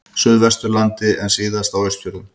Suðvesturlandi en síðast á Austfjörðum.